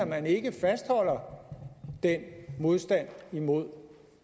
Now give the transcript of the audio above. man ikke fastholder den modstand mod